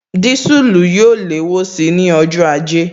Disulu yóò léwó síi ní ọjọ́ ajé